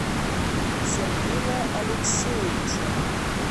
сергея алексеевича